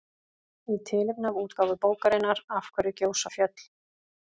Í tilefni af útgáfu bókarinnar Af hverju gjósa fjöll?